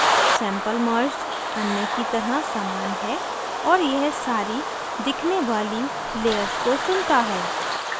sample merged अन्य की तरह समान है और यह सारी दिखने वाली layers को चुनता है